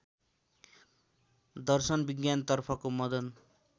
दर्शन विज्ञानतर्फको मदन